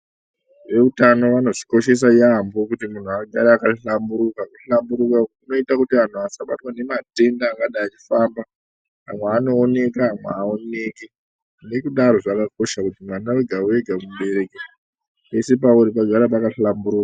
Veutano vanozvikoshesa yaambo kuti muntu agare akahlamburuka. Kushamburuka kunoita kuti antu asabatwa nematenda anenge achifamba amwe anooneka amwe haaoneki. Nekudaro zvakakosha kuti mwana veda-vega mubereki pese pauri pagare pakahlamburuka.